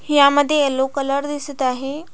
ह्यामध्ये yellow colour दिसत आहे.